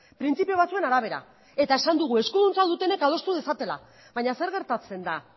printzipio batzuen arabera eta esan dugu eskuduntza dutenek adostu dezatela baina zer gertatzen da